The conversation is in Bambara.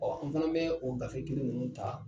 Ɔ an fana bɛ o gafe kelen ninnu ta